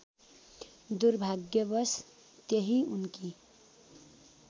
दुर्भाग्यवश त्यही उनकी